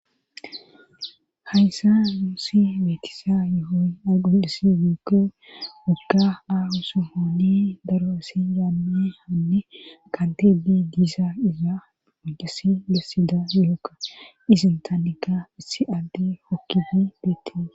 hayssa nuuusi beetisa yohoy aygondasi miikke gogga aahu su holi daro asi yaame haanne kanti bi diisa iza odesi lessida yhokka isin taannika issi agde hokkifi beettie